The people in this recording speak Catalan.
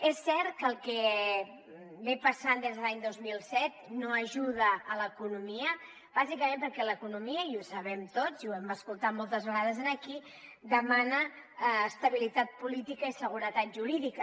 és cert que el que ve passant des de l’any dos mil set no ajuda a l’economia bàsicament perquè l’economia i ho sabem tots i ho hem escoltat moltes vegades aquí demana estabilitat política i seguretat jurídica